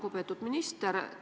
Lugupeetud minister!